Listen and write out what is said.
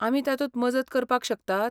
आमी तातूंत मजत करपाक शकतात?